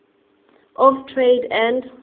of trade and